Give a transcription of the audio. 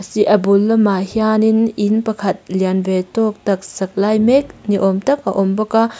a bul lamah hianin in pakhat lian ve tawk tak sak lai mek ni awm tak a awm bawk a--